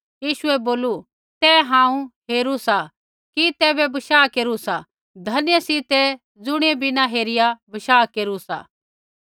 यीशुऐ बोलू तैं हांऊँ हेरू सा कि तैबै बशाह केरू सा धन्य सी तै ज़ुणियै बिना हेरिया बशाह केरू सा